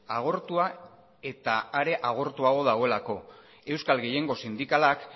agortua eta are agortuago dagoelako euskal gehiengo sindikalak